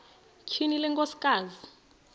tyhini le nkosikazi